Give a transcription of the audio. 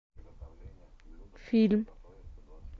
фильм